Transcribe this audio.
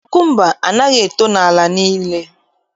Kukumba anaghị eto n'ala niile